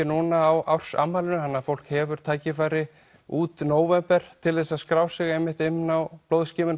núna á árs afmælinu þannig fólk hefur tækifæri út nóvember til að skrá sig inn á